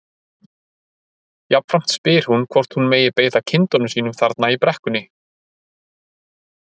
Jafnframt spyr hún hvort hún megi beita kindunum sínum þarna í brekkunni.